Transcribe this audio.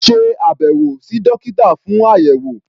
Ṣe àbẹ̀wò sí dókítà fún àyẹ̀wò.